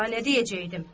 Daha nə deyəcəkdim?